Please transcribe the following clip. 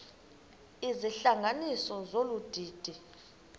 izihlanganisi zolu didi